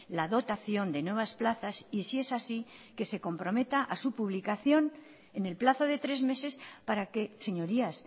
la dotación de nuevas plazas y si es así que se comprometa a su publicación en el plazo de tres meses para que señorías